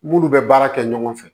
Munnu bɛ baara kɛ ɲɔgɔn fɛ